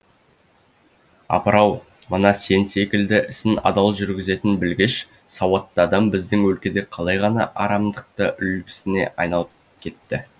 апыр ау мына сен секілді ісін адал жүргізетін білгіш сауатты адам біздің өлкеде қалай ғана үлгісіне айналып кетті